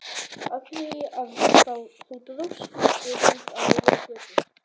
Af því að þú dróst skiltið út á miðja götu!